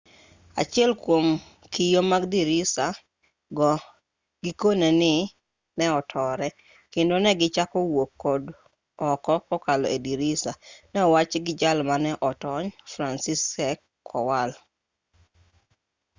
achiel kwom kio mag dirisa go gikone ni ne otore kendo ne gichako wuok oko kokalo e dirisa ne owachi gi jal mane otony franciszek kowal